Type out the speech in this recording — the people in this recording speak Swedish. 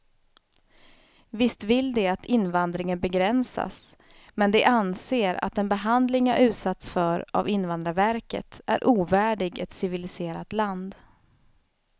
Visst vill de att invandringen begränsas, men de anser att den behandling jag utsatts för av invandrarverket är ovärdig ett civiliserat land.